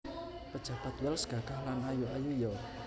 Pejabat Wells gagah lan ayu ayu yo